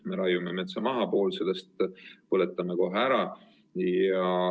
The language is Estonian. Me raiume metsa maha ja poole sellest põletame kohe ära.